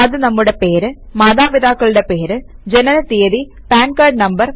അത് നമ്മുടെ പേര് മാതാപിതാക്കളുടെ പേര് ജനന തീയതി പാൻ കാർഡ് നം